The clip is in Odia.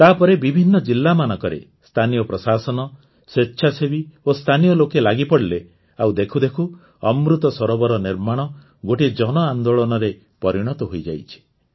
ତା ପରେ ବିଭିନ୍ନ ଜିଲ୍ଲାମାନଙ୍କରେ ସ୍ଥାନୀୟ ପ୍ରଶାସନ ସ୍ୱେଚ୍ଛାସେବୀ ଓ ସ୍ଥାନୀୟ ଲୋକେ ଲାଗିପଡ଼ିଲେ ଆଉ ଦେଖୁ ଦେଖୁ ଅମୃତ ସରୋବର ନିର୍ମାଣ ଗୋଟିଏ ଜନଆନ୍ଦୋଳନରେ ପରିଣତ ହୋଇଯାଇଛି